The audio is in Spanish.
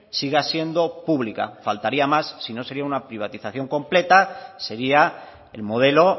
siga siendo pública faltaría más si no sería una privatización completa sería el modelo